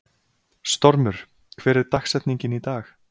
Stormur, hver er dagsetningin í dag?